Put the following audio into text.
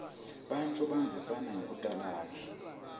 bantfu bandzisana ngekutalana